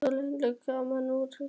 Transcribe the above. Svo léstu kjarnann úr mér lausan.